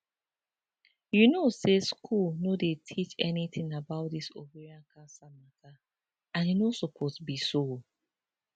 you know say school no dey teach anytin about dis ovarian cancer matter and e no supose be so